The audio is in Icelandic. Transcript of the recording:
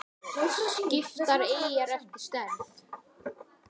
Skiptar eyjar eftir stærð